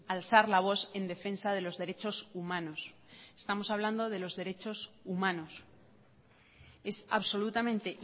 alzar la voz en defensa de los derechos humanos estamos hablando de los derechos humanos es absolutamente